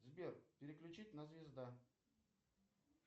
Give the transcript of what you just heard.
сбер переключить на звезда